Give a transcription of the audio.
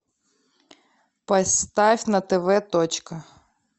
поставь на тв точка